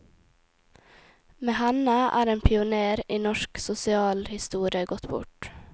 Med henne er en pionér i norsk sosialhistorie gått bort.